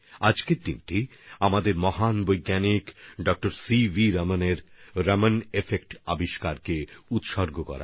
আজকের দিনটি ভারতের মহান বিজ্ঞানী ড সিভি রমণজির আবিষ্কৃত রমণ এফেক্টএর প্রতি সমর্পিত